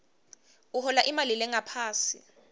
uhola imali lengaphansi